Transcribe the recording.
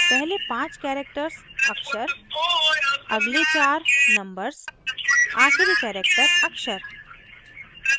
पहले पांच characters अक्षर अगले चार नंबर्स आखिरी characters अक्षर